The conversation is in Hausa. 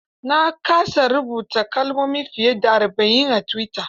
Na kasa rubuta kalmomi fiye da arba'in a tuwita.